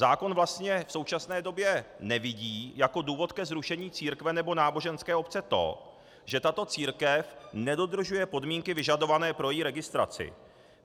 Zákon vlastně v současné době nevidí jako důvod ke zrušení církve nebo náboženské obce to, že tato církev nedodržuje podmínky vyžadované pro její registraci.